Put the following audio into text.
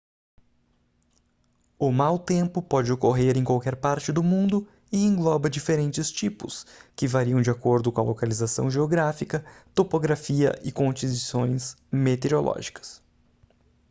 o mau tempo pode ocorrer em qualquer parte do mundo e engloba diferentes tipos que variam de acordo com a localização geográfica topografia e condições meteorológicas